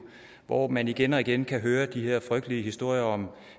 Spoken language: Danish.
hvor man igen og igen kan høre de her frygtelige historier om